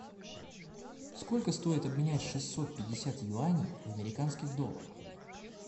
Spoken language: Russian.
сколько стоит обменять шестьсот пятьдесят юаней в американских долларах